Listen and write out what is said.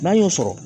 N'an y'o sɔrɔ